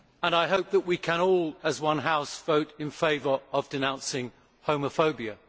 I hope that we can all, as one house, vote in favour of denouncing homophobia.